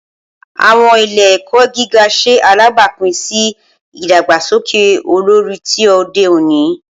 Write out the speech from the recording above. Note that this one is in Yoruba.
Awọn ile-ẹkọ giga ṣe alabapin si idagbasoke olori ti ode oni.